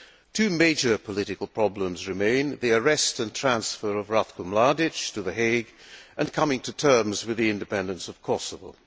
Two major political problems remain the arrest and transfer of Ratko Mladić to The Hague, and coming to terms with the independence of Kosovo.